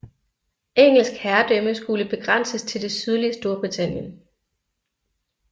Engelsk herredømme skulle begrænses til det sydlige Storbritannien